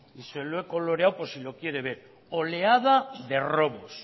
y se lo he coloreado por si lo quiere ver oleada de robos